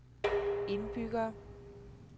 indbyggere